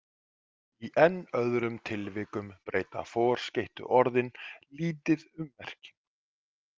Í enn öðrum tilvikum breyta forskeyttu orðin lítið um merkingu.